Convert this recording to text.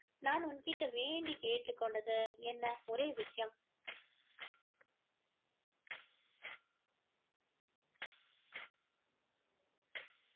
நான் உன் கிட்ட வேண்டி கேட்டுக்கொண்டது என்ன ஒரே விஷயம்